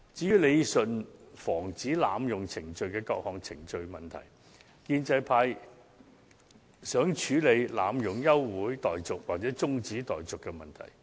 有關理順防止濫用程序問題的各項程序方面，建制派希望處理議員濫用休會待續或是中止待續的問題。